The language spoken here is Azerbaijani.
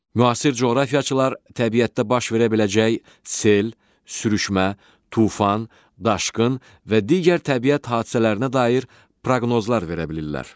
Müasir coğrafiyaçılar təbiətdə baş verə biləcək sel, sürüşmə, tufan, daşqın və digər təbiət hadisələrinə dair proqnozlar verə bilirlər.